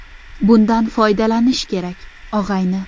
Bundan foydalanish kerak, og‘ayni!